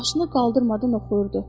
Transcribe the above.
Başını qaldırmadan oxuyurdu.